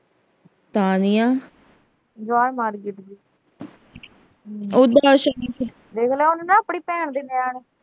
ਦੇਖ ਲਾ ਉਹਨੇ ਨਾ ਆਪਣੀ ਭੈਣ ਦੇ ਨਿਆਣੇ